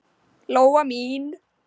Lóa mín.